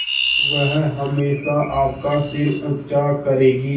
वह हमेशा आपका सिर ऊँचा करेगी